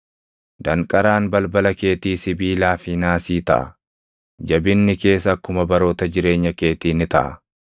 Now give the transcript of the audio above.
Danqaraan balbala keetii sibiilaa fi naasii taʼa; jabinni kees akkuma baroota jireenya keetii ni taʼa.